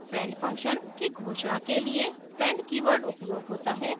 friend function की घोषणा के लिए friend कीवर्ड उपयोग होता है